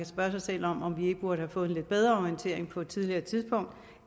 spørge sig selv om om vi ikke burde have fået en lidt bedre orientering på et tidligere tidspunkt